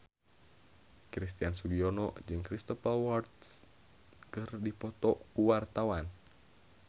Christian Sugiono jeung Cristhoper Waltz keur dipoto ku wartawan